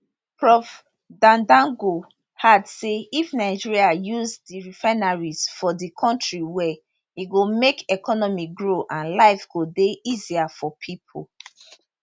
prof dandago add say if nigeria use di refineries for di kontri well e go make economy grow and life go dey easier for pipo